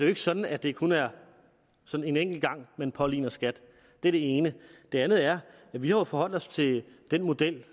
ikke sådan at det kun er en enkelt gang man påligner skat det er det ene det andet er at vi jo har forholdt os til den model